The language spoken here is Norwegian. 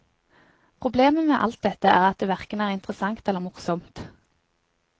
Problemet med alt dette er at det verken er interessant eller morsomt.